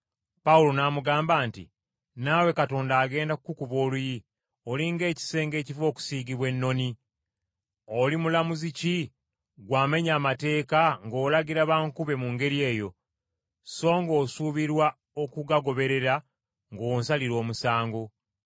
Pawulo n’amugamba nti, “Naawe Katonda agenda kukukuba oluyi, oli ng’ekisenge ekiva okusiigibwa ennoni! Oli mulamuzi ki ggwe amenya amateeka ng’olagira bankube mu ngeri eyo, so ng’osuubirwa okugagoberera ng’onsalira omusango?”